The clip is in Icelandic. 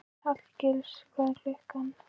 Hallgils, hvað er klukkan?